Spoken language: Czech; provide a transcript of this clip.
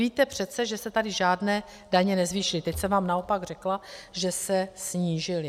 Víte přece, že se tady žádné daně nezvýšily, teď jsem vám naopak řekla, že se snížily.